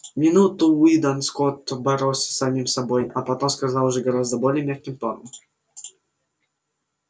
минуту уидон скотт боролся с самим собой а потом сказал уже гораздо более мягким тоном